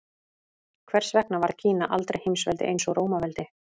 Hvers vegna varð Kína aldrei heimsveldi eins og Rómaveldi?